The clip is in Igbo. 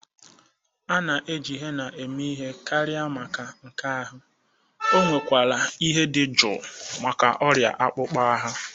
Ana eji Henna eme ihe karịa maka nka ahụ, onwe kwara ihe dị jụụ maka ọrịa akpụkpọ ahụ.